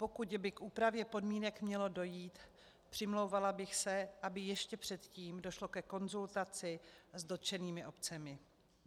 Pokud by k úpravě podmínek mělo dojít, přimlouvala bych se, aby ještě předtím došlo ke konzultaci s dotčenými obcemi.